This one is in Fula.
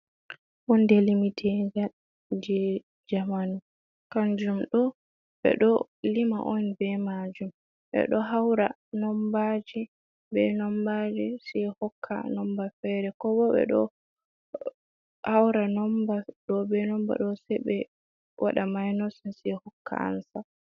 Honde limiteja je jamanu kanjum do be do lima on be majum, be do haura nombaji be nombaji se hokka nomba fere ko bo be do haura nomba do be nomba do se be wada mainosen se hokka ansa.